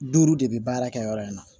Duuru de bɛ baara kɛ yɔrɔ in na